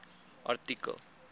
artikel